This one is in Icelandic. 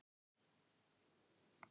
Hvað er ég að gera hér?